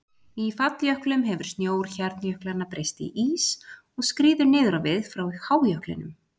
Í falljöklum hefur snjór hjarnjöklanna breyst í ís og skríður niður á við frá hájöklinum.